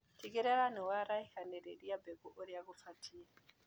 Tigĩrĩra nĩwaraihanĩrĩria mbegũ ũrĩa cibatie.